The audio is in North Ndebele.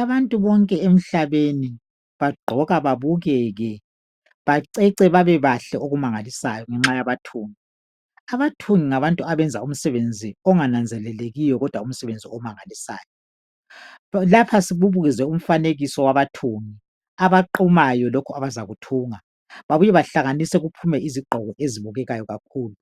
abantu bonke emhlabeni bagqoka babukeke bacece babebahle ojumangalisayo ngenxa yabathungi abathungi ngabantu abenza umsebenzi ongananzelelekiyo umsebenzi omanagalsayo lapho kubekezwe umfanekiso wabathungi abaqhumayo lokhu abazakuthunga babuye bahlanganise kuphume izigqoko ezibukekayo kakhulu